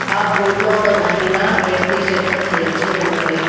ఆ బోర్డు లో ఒక మహిళ రెడ్ టీషర్ట్ ను ధరించి ఉన్నది.